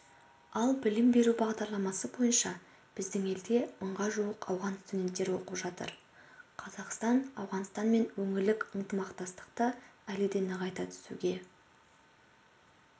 ал білім беру бағдарламасы бойынша біздің елде мыңға жуық ауған студенттері оқып жатыр қазақстан ауғанстанмен өңірлік ынтымақтастықты әлі де нығайта түсуге